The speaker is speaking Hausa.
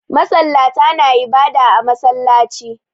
Masallata na ibada a masallaci